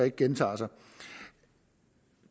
ikke gentager sig